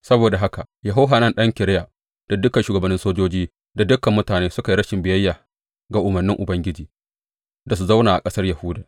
Saboda haka Yohanan ɗan Kareya da dukan shugabannin sojoji da dukan mutane suka yi rashin biyayya ga umarnin Ubangiji da su zauna a ƙasar Yahuda.